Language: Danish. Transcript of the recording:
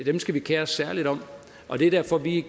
dem skal vi kere os særligt om det er derfor vi